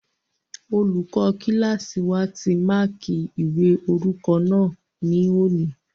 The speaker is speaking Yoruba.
Olùkọ́ kílásì wa ti máàkí ìwé orúkọ náà ní òní